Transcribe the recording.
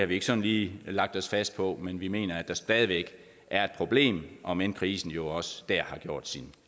vi ikke sådan lige lagt os fast på men vi mener at der stadig væk er et problem om end krisen jo også der har gjort sin